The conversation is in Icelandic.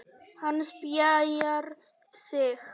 Hann spjarar sig.